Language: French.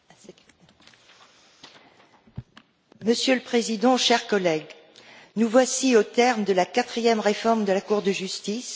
Monsieur le Président, chers collègues, nous voici au terme de la quatrième réforme de la Cour de justice, la suppression du Tribunal de la fonction publique.